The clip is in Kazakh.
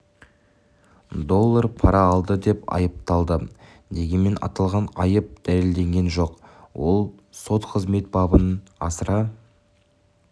доллар пара алды деп айыпталды дегенмен аталған айып дәлелденген жоқ ал сот қызмет бабын асыра